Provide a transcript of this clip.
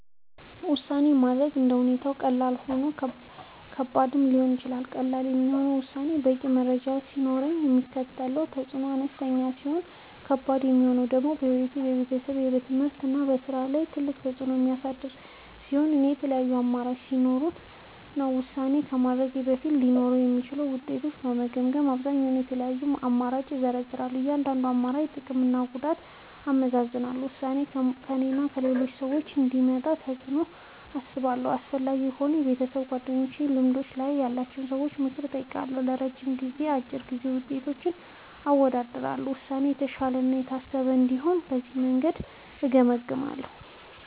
ውሳኔ ማድረግ እንደ ሁኔታው ቀላልም ሆነ ከባድም ሊሆን ይችላል። ቀላል የሚሆነው ውሳኔው በቂ መረጃ ሲኖረው እና የሚያስከትለው ተፅዕኖ አነስተኛ ሲሆን ነው። ከባድ የሚሆነው ደግሞ በሕይወት፣ በቤተሰብ፣ በትምህርት ወይም በሥራ ላይ ትልቅ ተፅዕኖ የሚያሳድር ሲሆን እና የተለያዩ አማራጮች ሲኖሩት ነው። ውሳኔ ከማድረግ በፊት ሊኖሩ የሚችሉትን ውጤቶች የምገመግመዉ በአብዛኛዉ፦ የተለያዩ አማራጮችን እዘረዝራለሁ። የእያንዳንዱን አማራጭ ጥቅምና ጉዳት አመዛዝናለሁ። ውሳኔው በእኔና በሌሎች ሰዎች ላይ የሚያመጣውን ተፅዕኖ አስባለሁ። አስፈላጊ ከሆነ ከቤተሰብ፣ ከጓደኞች ወይም ከልምድ ያላቸው ሰዎች ምክር እጠይቃለሁ። የረጅም ጊዜና የአጭር ጊዜ ውጤቶችን አወዳድራለሁ። ውሳኔው የተሻለ እና የታሰበበት እንዲሆን በዚህ መንገድ እገመግማለሁ።